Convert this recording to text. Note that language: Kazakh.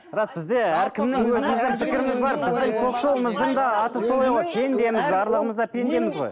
рас бізде әркімнің пендеміз барлығымыз да пендеміз ғой